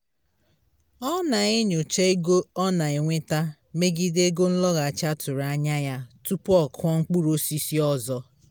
ọ na-enyocha ego ọ na-enweta megide ego nlọghachi a tụrụ anya ya tupu ọ kụọ mkpụrụ osisi ọzọ